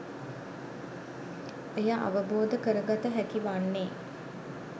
එය අවබෝධ කරගත හැකි වන්නේ